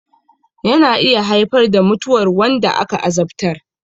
Yana iya haifar da mutuwar wanda aka azabtar